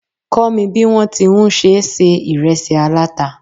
Kó mi bí wọn ti ń ṣe se ìresí aláta